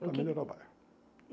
E o que Para melhorar o bairro.